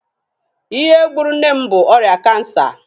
Ihe gburu nne m bụ ọrịa Kansa.